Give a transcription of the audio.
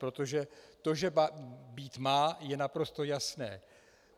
Protože to, že být má, je naprosto jasné.